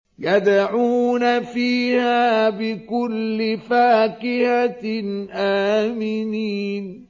يَدْعُونَ فِيهَا بِكُلِّ فَاكِهَةٍ آمِنِينَ